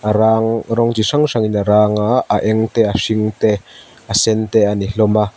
a rang rawng chi hrang hrangin a rang a a eng te a hring te a sen te a ni hlawm a.